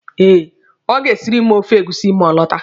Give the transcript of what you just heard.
Eh, ọ ga-esiri m ofe egusi ma ọ lọta.